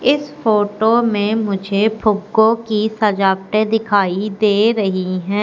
इस फोटो में मुझे फुग्गों की सजावटें दिखाई दे रहीं हैं।